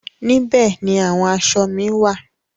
Níbẹ̀ ni àwọn aṣọ mi wá à.